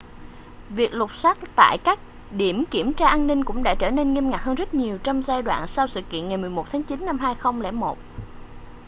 việc lục soát tại các điểm kiểm tra an ninh cũng đã trở nên nghiêm ngặt hơn rất nhiều trong giai đoạn sau sự kiện ngày 11 tháng chín năm 2001